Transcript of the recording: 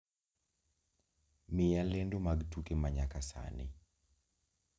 Miya lendo mag tuke manyaka sani